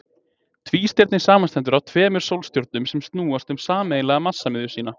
Tvístirni samanstendur af tveimur sólstjörnum sem snúast um sameiginlega massamiðju sína.